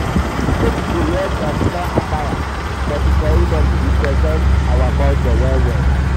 di baby go wear traditional attire for di ceremony represent our culture well.